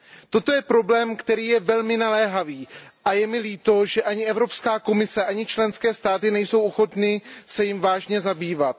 Toto je problém, který je velmi naléhavý, a je mi líto, že ani Evropská komise, ani členské státy nejsou ochotny se jím vážně zabývat.